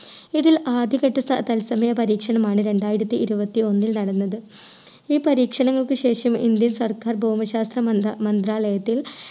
ഇതിൽ ആദ്യ ഘട്ട സൽ തത്സമയ പരീക്ഷണമാണ് രണ്ടായിരത്തി ഇരുപത്തി ഒന്നിൽ നടന്നത് ഈ പരീക്ഷണങ്ങൾക്ക് ശേഷം indian സർക്കാർ ഭൂമി ശാസ്ത്ര മന്ത്ര മന്ത്രാലയത്തിൽ